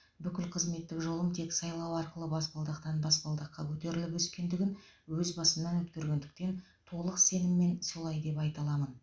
бүкіл қызметтік жолым тек сайлау арқылы баспалдақтан баспалдаққа көтеріліп өскендігін өз басымнан өткергендіктен толық сеніммен солай деп айта аламын